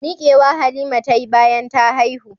Mikewa Halima tayi bayan ta haihu.